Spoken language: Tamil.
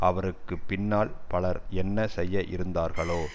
அவருக்கு பின்னால் பலர் என்ன செய்ய இருந்தார்களோ